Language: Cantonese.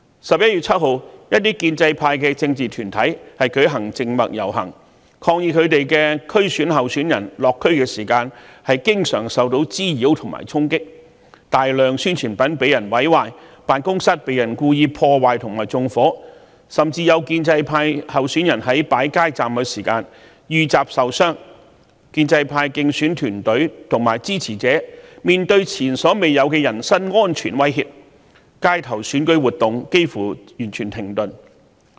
11月7日，一些建制派政治團體舉行靜默遊行，抗議他們的區議會選舉候選人落區時經常受到滋擾和衝擊，大量宣傳品被毀壞，辦公室被故意破壞和縱火，甚至有建制派候選人在擺設街站時遇襲受傷，建制派競選團隊和支持者面對前所未有的人身安全威嚇，街頭選舉活動幾乎完全停頓。